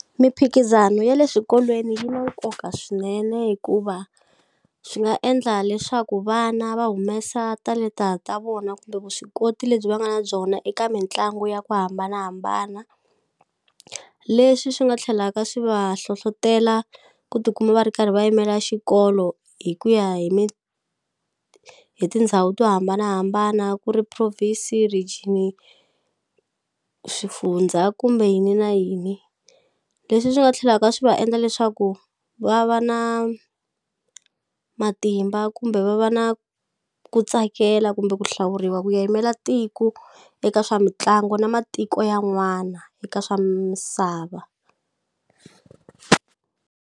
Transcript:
Mimphikizano ya le swikolweni yi na nkoka swinene hikuva swi nga endla leswaku vana va humesa taleta ta vona kumbe vuswikoti lebyi va nga na byona eka mitlangu ya ku hambanahambana leswi swi nga tlhelaka swi va hlohlotelo ku tikuma va ri karhi va yimela xikolo hi ku ya hi hi tindhawu to hambanahambana ku ri province region-i xifundza kumbe yini na yini leswi swi nga tlhelaka swi va endla leswaku va va na matimba kumbe va va na ku tsakela kumbe ku hlawuriwa ku yimela tiku eka swa mitlangu na matiko yan'wana eka swa misava.